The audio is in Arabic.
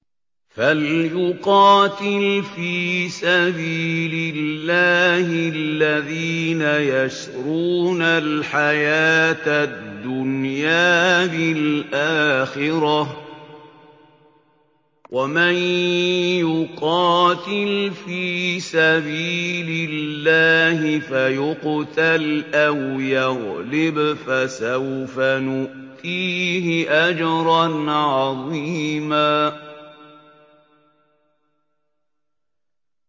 ۞ فَلْيُقَاتِلْ فِي سَبِيلِ اللَّهِ الَّذِينَ يَشْرُونَ الْحَيَاةَ الدُّنْيَا بِالْآخِرَةِ ۚ وَمَن يُقَاتِلْ فِي سَبِيلِ اللَّهِ فَيُقْتَلْ أَوْ يَغْلِبْ فَسَوْفَ نُؤْتِيهِ أَجْرًا عَظِيمًا